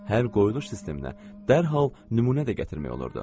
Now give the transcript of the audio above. Hər qoyuluş sisteminə dərhal nümunə də gətirmək olurdu.